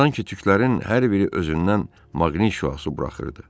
Sanki tüklərin hər biri özündən maqnit şüası buraxırdı.